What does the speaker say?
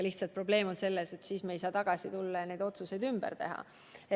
Probleem on selles, et siis me ei saa ajas tagasi tulla ja neid otsuseid ümber teha.